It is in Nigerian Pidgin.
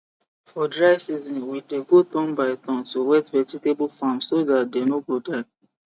for dry season we dey go turn by turn to wet vegetable farms so that they no go die